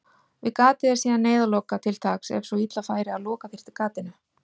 Við gatið er síðan neyðarloka til taks ef svo illa færi að loka þyrfti gatinu.